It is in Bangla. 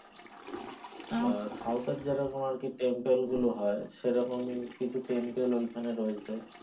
আহ south এ যেমন আরকি temple গুলো হয় সেরকম কিছু temple ওইখানে রয়েছে,